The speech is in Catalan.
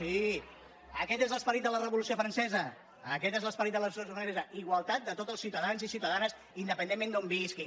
sí aquest és l’esperit de la revolució francesa aquest és l’esperit de la revolució francesa igualtat de tots els ciutadans i ciutadanes independentment d’on visquin